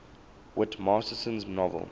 whit masterson's novel